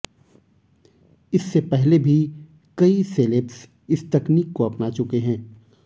इससे पहले भी कई सेलेब्स इस तकनीक को अपना चुके हैं